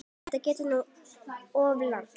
Þetta gekk nú of langt.